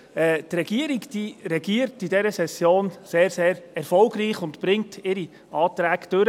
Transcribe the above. Die Regierung regiert in dieser Session sehr erfolgreich und bringt seine Anträge durch.